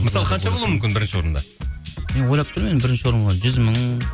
мысалға қанша болуы мүмкін бірінші орында мен ойлап тұрмын енді бірінші орынға жүз мың